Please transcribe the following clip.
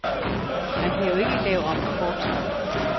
Man kan jo ikke lave om på fortiden.